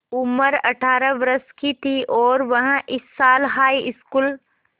उम्र अठ्ठारह वर्ष थी और वह इस साल हाईस्कूल